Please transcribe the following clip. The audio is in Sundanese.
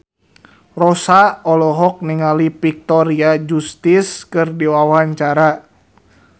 Rossa olohok ningali Victoria Justice keur diwawancara